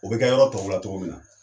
O bɛ kɛ yɔrɔ tɔw la cogo min na